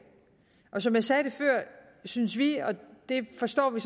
og som jeg sagde før synes vi og det forstår vi